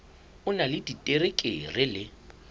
o na le diterekere le